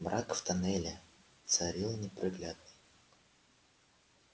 мрак в тоннеле царил непроглядный